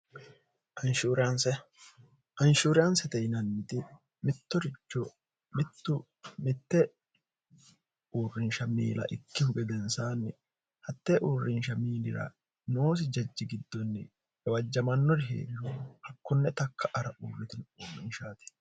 anshuuriyaansete hinanniti mittorioittumitte uurrinsha miila ikkihu gedensaanni hatte uurrinsha miilira noosi jajji giddonni gawajjamannori heellu hakkunne takka ara uurritini uurrinshaati